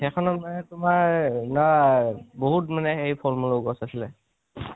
সেইখনত মানে তোমাৰ বাহুত মানে হেৰি ফলমুলৰ গছ আছিলে।